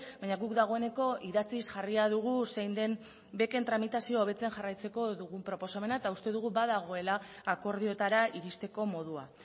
baina guk dagoeneko idatziz jarria dugu zein den beken tramitazioa hobetzen jarraitzeko dugun proposamena eta uste dugu badagoela akordioetara iristeko modua